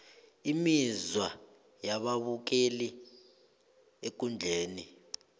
imizwa yababukeli ekundleni